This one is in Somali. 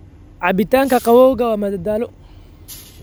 Cabitaanka qabowgu waa madadaalo.